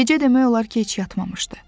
Gecə demək olar ki, heç yatmamışdı.